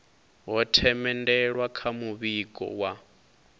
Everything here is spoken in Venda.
ho themendelwa kha muvhigo wa